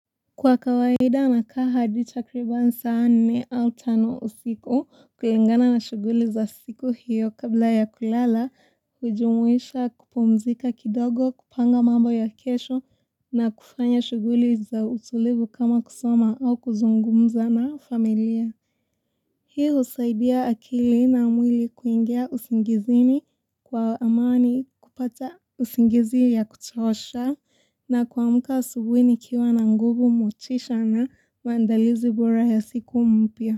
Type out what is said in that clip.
Kwa kawaida na kaa hadi takriban asa nne au tano usiku kulingana na shuguli za siku hiyo kabla ya kulala, hujumuisha kupumzika kidogo, kupanga mambo ya kesho na kufanya shuguli za utulivu kama kusoma au kuzungumza na familia. Hii husaidia akili na mwili kuingia usingizini kwa amani kupata usingizi ya kuchosha na kwuamuka asubuhi nikiwa na nguvu motisha na maandalizi bora ya siku mpya.